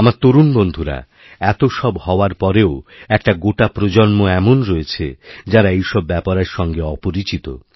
আমার তরুণ বন্ধুরা এতসব হওয়ারপরেও একটা গোটা প্রজন্ম এমন রয়েছে যাঁরা এইসব ব্যাপারের সঙ্গে অপরিচিত